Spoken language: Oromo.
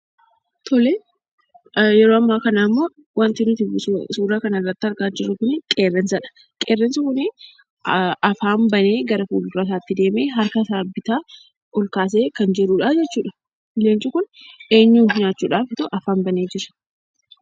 Tole, yeroo ammaa kana immoo wanti nuti suura kana irratti argaa jirru kuni qeerransadha. Qeerransi kuni afaan banee gara fuuldura isaatti deemee, harka isaa bitaa ol kaasee kan jiruudhaa jechuudha. Qeerransi kun eenyuun nyaachuudhaaf afaan banee Jira?